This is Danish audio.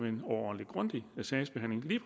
en overordentlig grundig sagsbehandling